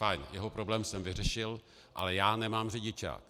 Fajn, jeho problém jsem vyřešil, ale já nemám řidičák.